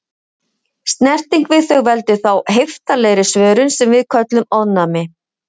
Snerting við þau veldur þá heiftarlegri svörun sem við köllum ofnæmi.